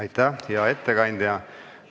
Aitäh, hea ettekandja!